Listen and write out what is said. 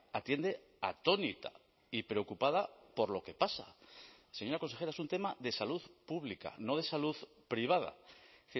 atiende atónita y preocupada por lo que pasa señora consejera es un tema de salud pública no de salud privada es